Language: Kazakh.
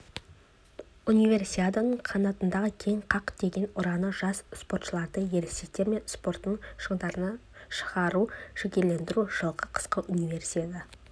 универсиаданың қанатыңды кең қақ деген ұраны жас спортшыларды ересектер спортының шыңдарына шығуға жігерлендіреді жылғы қысқы универсиада